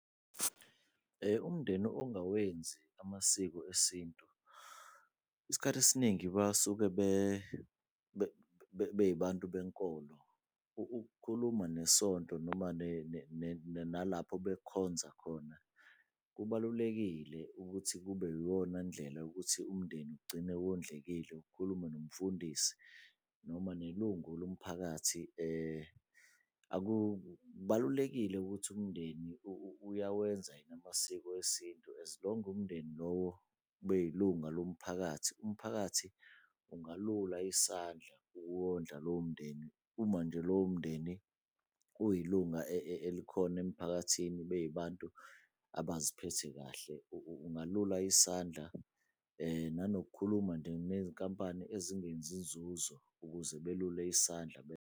Umndeni ongawenzi amasiko esintu isikhathi esiningi basuke beyibantu benkolo. Ukukhuluma nesonto noma nalapho bekhonza khona kubalulekile ukuthi kube yiyona ndlela yokuthi umndeni ugcine wondlekile. Ukukhuluma nomfundisi noma nelungu lomphakathi akubalulekile ukuthi umndeni uyawenza yini amasiko esintu as long umndeni lowo kube yilunga lomphakathi. Umphakathi ungalula isandla ukuwondla lowo mndeni, uma nje lowo mndeni uyilunga elikhona emphakathini, beyibantu abaziphethe kahle. Ungalula isandla, nanokukhuluma nje nezinkampani ezingenzi nzuzo ukuze belule isandla .